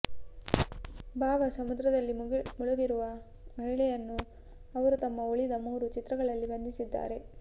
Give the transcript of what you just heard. ಭಾವ ಸಮುದ್ರದಲ್ಲಿ ಮುಳುಗಿರುವ ಮಹಿಳೆಯನ್ನು ಅವರು ತಮ್ಮ ಉಳಿದ ಮೂರು ಚಿತ್ರಗಳಲ್ಲಿ ಬಂಧಿಸಿದ್ದಾರೆ